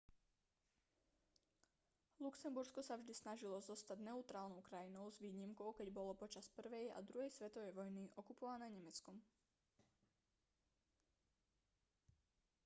luxembursko sa vždy snažilo zostať neutrálnou krajinou s výnimkou keď bolo počas 1. a 2. svetovej vojny okupované nemeckom